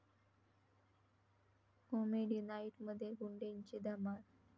comedy नाईट...'मध्ये 'गुंडे'ची धमाल